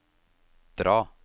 dra